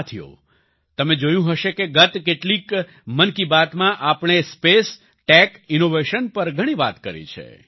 સાથિઓ તમે જોયું હશે કે ગત કેટલીક મન કી બાતમાં આપણે સ્પેસ ટેક ઈનોવેશન પર ઘણી વાત કરી છે